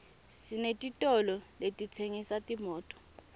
senetitolo letitsengisa timoto